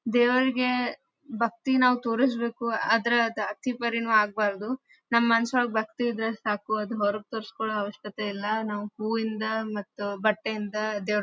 ದೇವರ್ಗೆ ಭಕ್ತಿ ನಾವು ತೋರಿಸ್ಬೇಕು ಆದ್ರೆ ಅದ್ ಅತಿ ಪರಿನು ಆಗಬಾರದು. ನಮ್ಮ ಮನಸ್ಸಲ್ಲಿ ಭಕ್ತಿ ಇದ್ರೆ ಸಾಕು ಅದು ಹೊರ್ಗ ತೋರಿಸ್ಕೊಳ್ಳೋ ಅವಶ್ಯಕತೆ ಇಲ್ಲಾ. ನಾವು ಹೂವಿಂದ ಮತ್ತು ಬಟ್ಟೆಯಿಂದ ದೇವ್ರ್--